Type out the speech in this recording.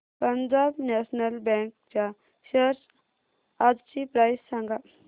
Punjab national bank च्या shares आजची price सांगा